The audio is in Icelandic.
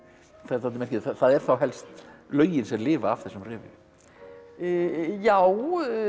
það er dálítið merkilegt að það eru þá helst lögin sem lifa af þessum revíum já